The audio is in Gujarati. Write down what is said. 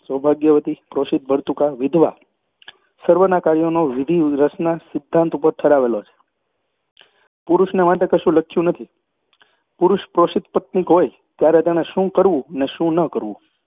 સૌભાગ્યવતી, પ્રોષિતભર્તૃકા, વિધવા, સર્વનાં કાર્યોનો વિધિ રસના સિદ્ધાંત ઉપર ઠરાવેલો છે. પુરુષને માટે કશું લખ્યું નથી. પુરુષ પ્રોષિતપત્નીક હોય ત્યારે તેણે શું કરવું ને શું ન કરવું